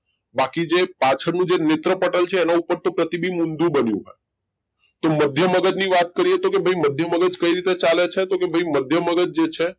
બાકી જે પાછળનું જે નેત્રપટલ છે એના ઉપર તો પ્રતિબિંબ ઊંધું બન્યું હોય તો મધ્ય મગજ ની વાત કરીયે તો તો ભઈ મધ્ય મગજ કઈ રીતે ચાલે છે તો ભઈ મધ્ય મગજ જે છે.